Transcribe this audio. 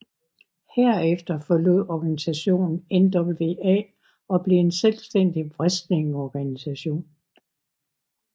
Herefter forlod organisationen NWA og blev en selvstændig wrestlingorganisation